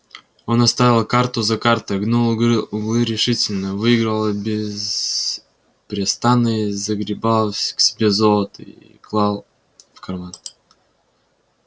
он оставил карту за картой гнул углы решительно выигрывал беспрестанно и загребал к себе золото и клал в карман